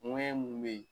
Ŋɛɲɛ mun bɛ ye